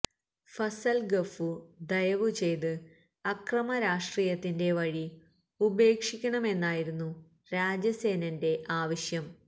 ഫസൽ ഗഫൂർ ദയവു ചെയ്ത് അക്രമരാഷ്ട്രീയത്തിന്റെ വഴി ഉപേക്ഷിക്കണമെന്നായിരുന്നു രാജസേനന്റെ ആവശ്യം